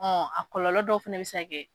Ɔ a kɔlɔlɔ dɔw fana bɛ se ka Kɛ.